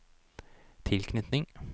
tilknytning